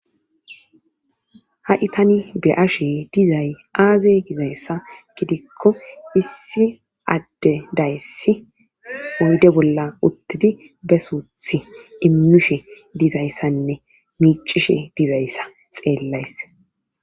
ha7i tani be'ashe dizay aaze gizayssa gidikko issi adde dayssi oyde bolla uttidi be suuthi immishe dizayssanne miicishe dibayssa xeellays